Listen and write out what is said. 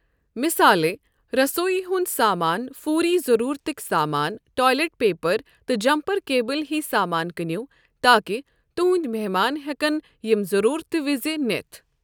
مثالے رسویی ہٗند سامان فوری ضٔروٗرتکۍ سامان، ٹایلٮ۪ٹ پیپر تہٕ جمپر كیبل ہوۍ سامانہٕ كٕنِو تاكہِ تُہٕندۍ مہمان ہیكن یم ضروٗرتہٕ وِزِ نِتھ۔